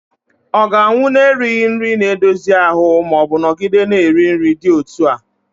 ọ ga-anwụ n'erighị nri na-edozi ahụ ma ọ nọgide na-eri nri dị otú a?